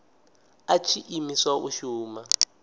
a tshi imiswa u shuma